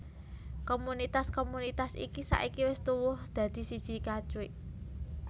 Komunitas komunitas iki saiki wis tuwuh dadi siji Katwijk